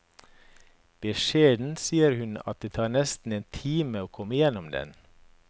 Beskjedent sier hun at det tar nesten en time å komme igjennom den.